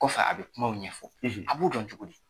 Kɔfɛ a bi kumaw ɲɛfɔ , a b'u dɔn cogo di?